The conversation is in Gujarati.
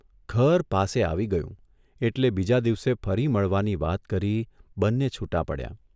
ઘર પાસે આવી ગયું એટલે બીજા દિવસે ફરી મળવાની વાત કરી બંને છૂટાં પડ્યાં.